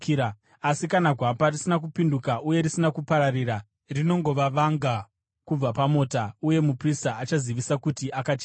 Asi kana gwapa risina kupinduka uye risina kupararira, rinongova vanga kubva pamota uye muprista achazivisa kuti akachena.